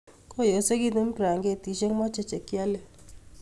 Koyosekotun braketishk moche chekiole.